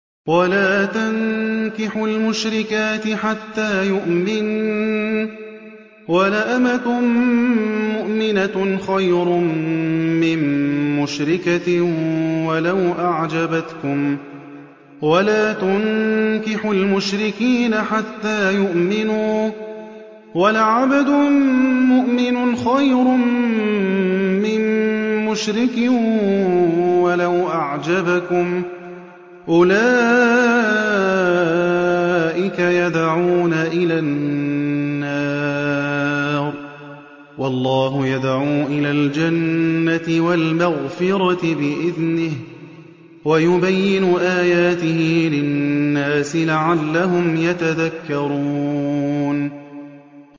وَلَا تَنكِحُوا الْمُشْرِكَاتِ حَتَّىٰ يُؤْمِنَّ ۚ وَلَأَمَةٌ مُّؤْمِنَةٌ خَيْرٌ مِّن مُّشْرِكَةٍ وَلَوْ أَعْجَبَتْكُمْ ۗ وَلَا تُنكِحُوا الْمُشْرِكِينَ حَتَّىٰ يُؤْمِنُوا ۚ وَلَعَبْدٌ مُّؤْمِنٌ خَيْرٌ مِّن مُّشْرِكٍ وَلَوْ أَعْجَبَكُمْ ۗ أُولَٰئِكَ يَدْعُونَ إِلَى النَّارِ ۖ وَاللَّهُ يَدْعُو إِلَى الْجَنَّةِ وَالْمَغْفِرَةِ بِإِذْنِهِ ۖ وَيُبَيِّنُ آيَاتِهِ لِلنَّاسِ لَعَلَّهُمْ يَتَذَكَّرُونَ